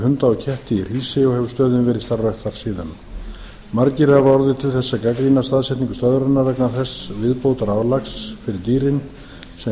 hunda og ketti í hrísey og hefur stöðin verið starfrækt þar síðan margir hafa orðið til þess að gagnrýna staðsetningu stöðvarinnar vegna þess viðbótarálags fyrir dýrin sem